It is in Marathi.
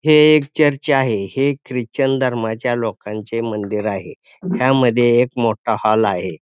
हे एक चर्च आहे हे ख्रिश्चन धर्माच्या लोकांचे मंदिर आहे ह्यामध्ये एक मोठा हॉल आहे.